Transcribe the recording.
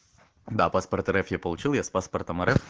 да паспорт рф я получил я с паспортом рф